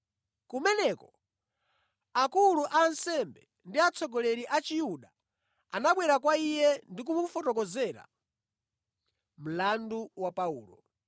Kumeneko akulu a ansembe ndi atsogoleri a Chiyuda anabwera kwa iye ndi kumufotokozera mlandu wa Paulo.